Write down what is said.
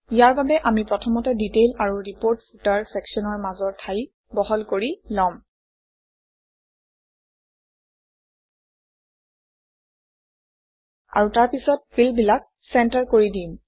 ইয়াৰ বাবে আমি প্ৰথমতে ডিটেইল আৰু ৰিপৰ্ট ফুটাৰ চেকশ্যনৰ মাজৰ ঠাই বহল কৰি লম আৰু তাৰপিছত ফিল্ডবিলাক চেণ্টাৰ কৰি দিম